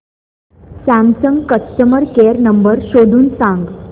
Samsung customer care number शोधून सांग